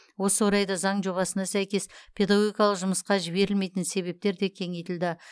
осы орайда заң жобасына сәйкес педагогикалық жұмысқа жіберілмейтін себептер де кеңейтілді